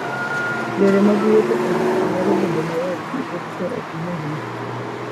Yore mag wuotho e wi pe nyalo bedo mayot nikech pe ok yiengni.